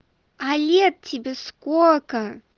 а лет тебе сколько